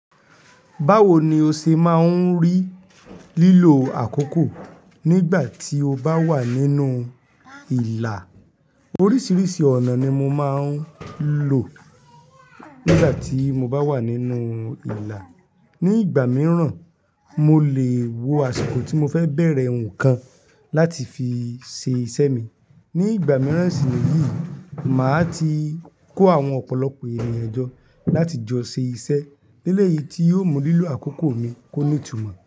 Báwo ni o ṣe máa ń rí lílo àkókò nígbà tí o bá wà nínú ìlà? Oríṣiríṣi ọ̀nà ni mo máa ń lò nígbà tí mo bá wà nínú ìlà. Ni ìgbà mìíràn, mo lè wo àsìkò tí mo fẹ́ bẹ̀rẹ̀ ǹkan láti fi ṣe iṣẹ́ mi. Ni ìgbà mìíràn sì níyìí, màá ti kó àwọn ọ̀pọ̀lọpọ̀ ènìyàn jọ láti jọ ṣe iṣẹ́. Léle yìí tí yóò mú lílo àkókò mi kó ní ìtumọ̀